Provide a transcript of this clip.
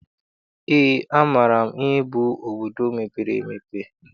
Eé, amaara m ihe bụ obodo mepere emepe.